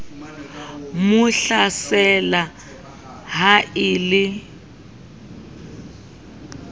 mo tlatsela ha e le